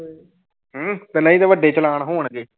ਹਮ ਤੇ ਨਹੀਂ ਤੇ ਵੱਡੇ ਚਲਾਣ ਹੋਣਗੇ।